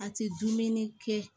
A tɛ dumuni kɛ